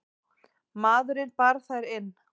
Maðurinn bar þær inn.